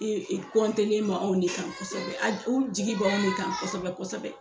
kɔntelen m'anw de kan kosɛbɛ a u jigi bɛ anw de kan kosɛbɛ kosɛbɛ.